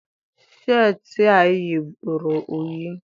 Sheetị a ị yi bụ ruru unyi